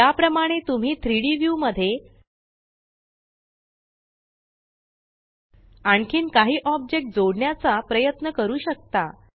या प्रमाणे तुम्ही 3Dव्यू मध्ये आणखीन काही ऑब्जेक्ट जोडण्याचा प्रयत्न करू शकता